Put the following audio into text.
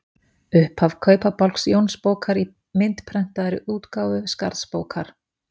Upphaf Kaupabálks Jónsbókar í myndprentaðri útgáfu Skarðsbókar.